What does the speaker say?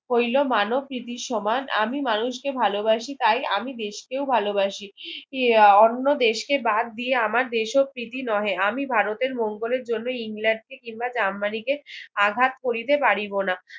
হইলো মানব প্রীতির সমান আমি মানুষ কে ভালো বাসি তাই আমি দেশকেও ভালো ভাসি আহ অন্য দেশকে বাদ দিয়ে আমার দোষপ্রীতি নহে আমি ভারতের মঙ্গলের জন্য ইংলেন্ডকে কিংবা জার্মানিকে আঘাত করিতে পারিব না